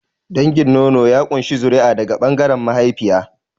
Dangin nono ya ƙunshi zuri'a daga ɓangaren mahaifiya.